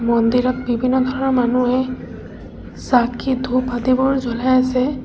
মন্দিৰত বিভিন্ন ধৰণৰ মানুহে চাকি ধূপ আদিবোৰ জ্বলাই আছে।